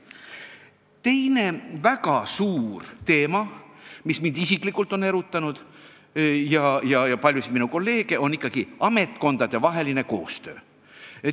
Teine väga suur teema, mis mind isiklikult on erutanud ja paljusid minu kolleege samuti, on ametkondadevaheline koostöö.